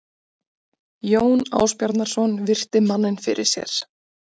Jón Ásbjarnarson virti manninn fyrir sér.